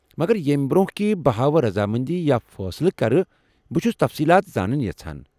مگر ییمہِ برٛۄنٛہہ کہِ بہٕ ہاوٕ رضامندی یا فٲصلہٕ كرٕ ، بہٕ چُھس تفصیٖلات زانٕنۍ یژھان ۔